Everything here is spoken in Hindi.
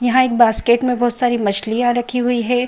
यहाँ एक बास्केट में बहुत सारी मछलियां रखी हुई हैं।